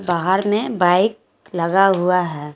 बाहर में बाइक लगा हुआ है।